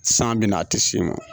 San bi na a ti s'i ma.